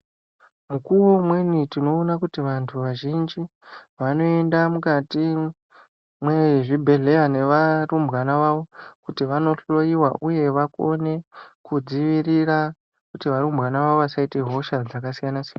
Mukuwo umweni tinoona kuti vantu vazhinji vanoenda mukati mwezvibhedhleya nevarumbwana vavo kuti vanohloyiwa uye vakone kudzivirira kuti varumbwana vavo vasaita hosha dzakasiyana siyana.